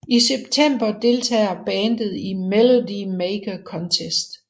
I semptember deltager bandet i Melody Maker Contest